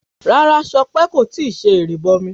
Rárá Sọpé kò tíì ṣe ìrìbọmi